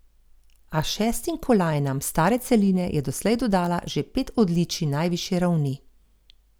A šestim kolajnam s stare celine je doslej dodala že pet odličij najvišje ravni.